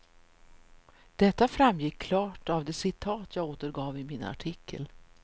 Detta framgick klart av det citat jag återgav i min artikel.